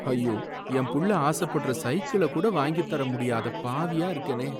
ஐயோ! என் புள்ள ஆசப்படுற சைக்கிள கூட வாங்கித்தர முடியாத பாவியா இருக்கேனே.